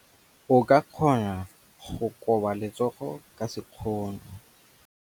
O ka kgona go koba letsogo ka sekgono.